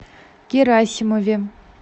герасимове